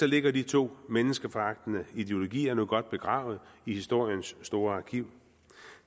ligger de to menneskeforagtende ideologier nu godt begravet i historiens store arkiv